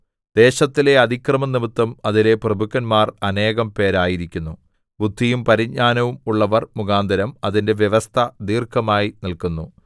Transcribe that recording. ദേശത്തിലെ അതിക്രമംനിമിത്തം അതിലെ പ്രഭുക്കന്മാർ അനേകം പേരായിരിക്കുന്നു ബുദ്ധിയും പരിജ്ഞാനവും ഉള്ളവർ മുഖാന്തരം അതിന്റെ വ്യവസ്ഥ ദീർഘമായി നില്ക്കുന്നു